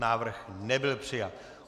Návrh nebyl přijat.